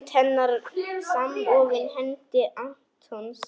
Hönd hennar samofin hendi Antons.